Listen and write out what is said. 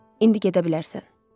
İndi gedə bilərsən.